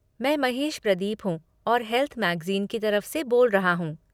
मैं महेश प्रदीप हूँ और हेल्थ मैगज़ीन की तरफ से बोल रहा हूँ।